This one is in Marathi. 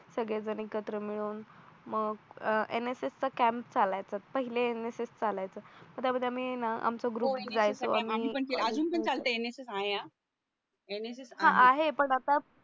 सगळेजण एकत्र मिळून मग NSS चा कॅम्प चालायचं पहिले NSS चालायचं ग्रुप जायचं अजून पण NSS आहे हा NSS आहे हा हो आहे पण आता